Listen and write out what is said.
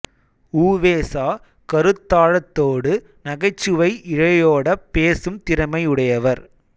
உ வே சா கருத்தாழத்தோடு நகைச்சுவை இழையோடப் பேசும் திறமை உடையவர்